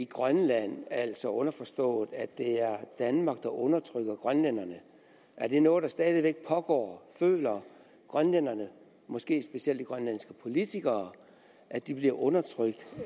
grønland altså underforstået at det er danmark der undertrykker grønlænderne er det noget der stadig væk pågår føler grønlænderne måske specielt de grønlandske politikere at de bliver undertrykt